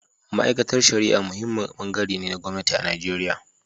Ma’aikatar Shari’a muhimmin bangare ne na gwamnati a Najeriya.